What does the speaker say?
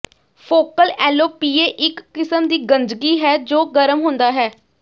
focal alopecia ਇੱਕ ਕਿਸਮ ਦੀ ਗੰਜਗੀ ਹੈ ਜੋ ਗਰਮ ਹੁੰਦਾ ਹੈ